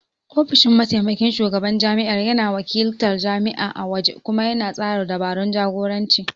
Ofishin Mataimakin Shugaban Jami'ar yana wakiltar jami'a a waje kuma yana tsara dabarun jagoranci